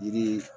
Yiri